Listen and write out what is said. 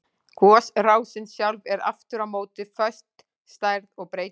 Gosrásin sjálf er aftur á móti föst stærð og breytist ekki.